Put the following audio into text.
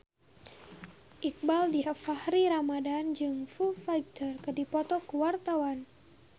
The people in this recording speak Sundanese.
Iqbaal Dhiafakhri Ramadhan jeung Foo Fighter keur dipoto ku wartawan